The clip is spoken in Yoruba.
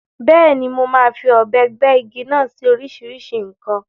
Bẹ́ẹ̀ni, mo máa fi ọ̀bẹ gbẹ́ igi náà sí oríṣìíríṣìí nǹkan.